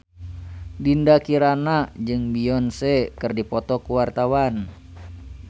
Dinda Kirana jeung Beyonce keur dipoto ku wartawan